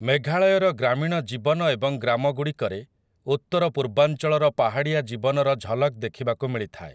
ମେଘାଳୟର ଗ୍ରାମୀଣ ଜୀବନ ଏବଂ ଗ୍ରାମଗୁଡ଼ିକରେ ଉତ୍ତରପୂର୍ବାଞ୍ଚଳର ପାହାଡ଼ିଆ ଜୀବନର ଝଲକ ଦେଖିବାକୁ ମିଳିଥାଏ ।